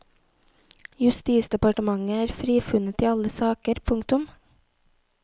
Justisdepartementet er frifunnet i alle saker. punktum